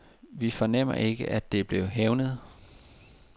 Vi fornemmer ikke, at det er blevet hævnet.